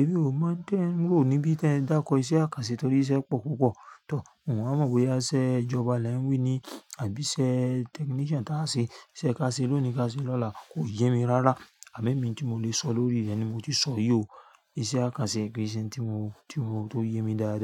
èmí ò máa ń tẹ́n, wo ní bí tẹ dákọ iṣẹ́ àkànṣe torí iṣẹ́ pọ̀ púpọ̀. Tọ̀, n o wáa mọ̀ boya iṣẹ ijọba lẹ ń wí ni àbí iṣẹ́ technician tá a se, iṣẹ́ ká ṣe lónìí, ká ṣe lọ́la kò yé mi rárá. Àme mí n tí mo lè sọ lórí rẹ̀ ni mo ti sọ yi ó. Iṣẹ́ àkànṣe, kí í ṣe n tí mo, tí mo tó yé mi dáadáa.